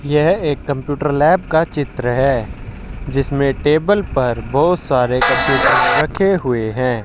यह एक computer lab का चित्र है जिसमें टेबल पर बहुत सारे कंप्यूटर रखे हुए हैं।